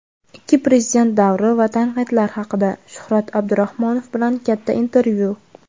ikki prezident davri va tanqidlar haqida - Shuhrat Abdurahmonov bilan katta intervyu.